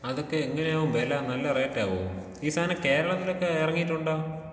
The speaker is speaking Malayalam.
അതൊക്കെ എങ്ങനെയാവും വെല? നല്ല റേറ്റ് ആവോ? ഈ സാനം കേരളത്തിലൊക്കേ എറങ്ങിയിട്ടുണ്ടോ?